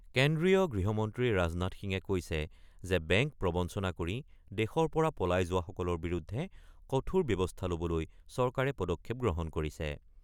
কেন্দ্ৰীয় গৃহমন্ত্ৰী ৰাজনাথ সিঙে কৈছে যে বেংক প্ৰবঞ্চনা কৰি দেশৰ পৰা পলাই যোৱাসকলৰ বিৰুদ্ধে কঠোৰ ব্যৱস্থা ল'বলৈ চৰকাৰে পদক্ষেপ গ্ৰহণ কৰিছে।